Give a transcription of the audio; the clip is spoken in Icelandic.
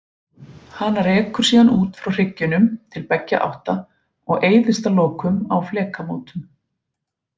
Hana rekur síðan út frá hryggjunum til beggja átta og eyðist að lokum á flekamótum.